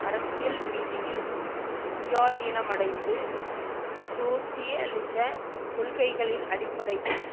அரசியல் ரீதியில் சுயாதீனமடைந்து சோசியலிச கொள்கைகளின் அடிப்படையில்